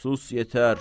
Sus yetər!